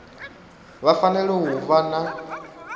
vha fanela u vha na